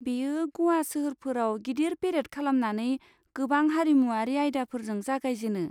बेयो ग'वा सोहोरफोराव गिदिर पेरेड खालामनानै गोबां हारिमुआरि आयदाफोरजों जागायजेनो।